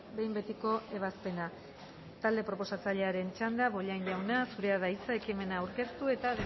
behin betiko ebazpena talde proposatzailearen txanda bollain jauna zurea da hitza ekimena aurkeztu eta